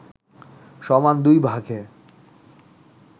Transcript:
সমান দুই ভাগে